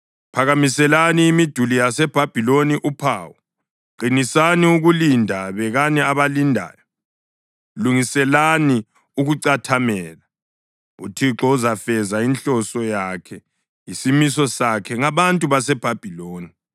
Phakamiselani imiduli yaseBhabhiloni uphawu! Qinisani ukulinda, bekani abalindayo, lungiselani ukucathamela! UThixo uzafeza inhloso yakhe, isimiso sakhe ngabantu baseBhabhiloni.